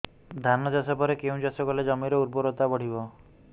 ଧାନ ଚାଷ ପରେ କେଉଁ ଚାଷ କଲେ ଜମିର ଉର୍ବରତା ବଢିବ